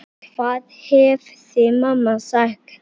Hvað hefði mamma sagt?